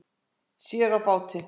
Sér á báti